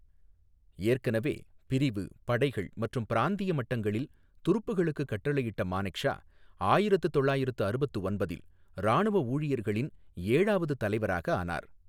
ஏற்கனவே பிரிவு, படைகள் மற்றும் பிராந்திய மட்டங்களில் துருப்புக்களுக்கு கட்டளையிட்ட மானெக்ஷா ஆயிரத்து தொள்ளாயிரத்து அறுபத்து ஒன்பதில் இராணுவ ஊழியர்களின் ஏழாவது தலைவராக ஆனார்.